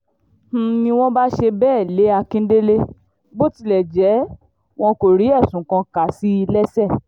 n ní wọ́n bá ṣe bẹ́ẹ̀ lé akíndélé bó tilẹ̀ jẹ́ wọn kò rí ẹ̀sùn kà sí i lẹ́sẹ̀